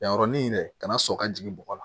Yanɔrɔni de ka na sɔn ka jigin bɔgɔ la